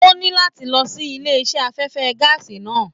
O ní láti lọ sílé iṣẹ afẹfẹ gàásí náà.